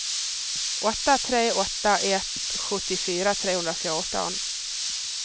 åtta tre åtta ett sjuttiofyra trehundrafjorton